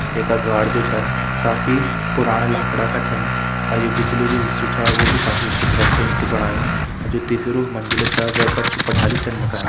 ये का द्वार जू छन काफी पुराना लाखड़ा का छन और यू जू पिछलू जू हिस्सू छ वू भी काफी सुंदर छ यू कू बणायुं और जू तीसरू मंजिल छा वे पर छु पठाली छन लगायीं।